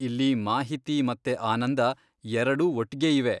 ಇಲ್ಲಿ ಮಾಹಿತಿ ಮತ್ತೆ ಆನಂದ ಎರಡೂ ಒಟ್ಗೆ ಇವೆ.